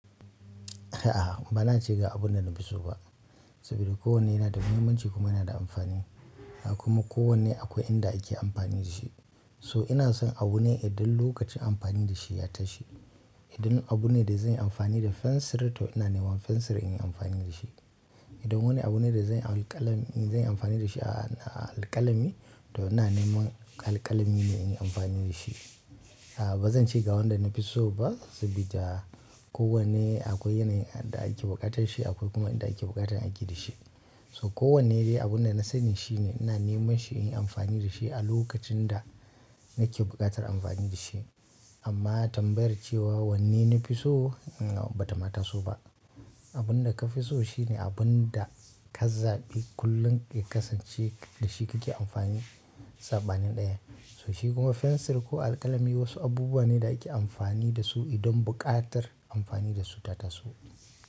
A'a, ba na cika abun da na fi so ba. Saboda kowane yana da muhimmanci kuma yana da amfani. Kuma kowane akwai inda ake amfani da shi. So ina son abu ne idan lokacin amfani da shi ya tashi. Idan abu ne da zanyi amfani da fensir to ina neman fensir in yi amfani da shi. Idan wani abu ne da zai alƙalami, zai yi amfani da shi a, a alƙalami, to ina neman alƙalami ne in yi amfani da shi. A'a ba zan ce ga wanda na fi so ba, saboda kowane akwai yanayin da ake buƙatar shi akwai kuma inda ake buƙatar aiki da shi. So kowanne dai abunda na sani shi ne ina neman shi in yi amfani da shi a lokacin da nake buƙatar amfani da shi. Amma tambayar cewa wanne na fi so, a'a ba ta ma taso ba. Abun da ka fi so shi ne abun da ka zaɓi kullum ya kasance da shi kake amfani saɓanin ɗaya. So shi kuma fensir ko alƙalami wasu abubuwa ne da ake amfani da su idan buƙatar amfani da su ta taso.